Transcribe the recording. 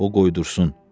O qoydursun.